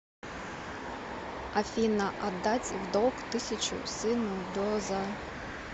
афина отдать в долг тысячу сыну до за